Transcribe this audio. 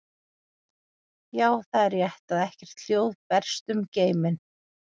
Já, það er rétt að ekkert hljóð berst um geiminn.